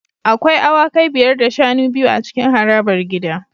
Akwai awakai biyar da shanu biyu a cikin harabar gida